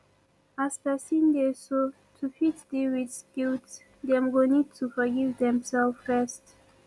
as person dey so to fit deal with guilt dem go need to forgive dem self first